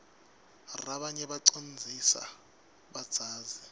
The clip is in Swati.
rabanye bacondzlsa badzazi